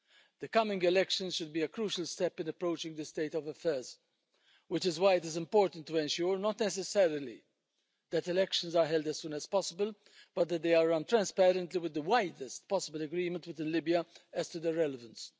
The coming elections should be a crucial step in approaching this state of affairs, which is why it is important to ensure not necessarily that elections are held as soon as possible but that they are run transparently, with the widest possible agreement with Libya as to their relevance.